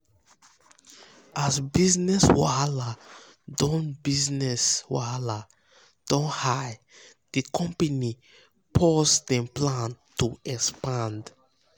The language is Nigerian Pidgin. as business wahala don business wahala don high di company pause dem plan um to expand.